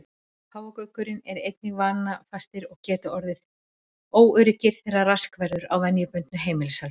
Páfagaukar eru einnig vanafastir og geta orðið óöruggir þegar rask verður á venjubundnu heimilishaldi.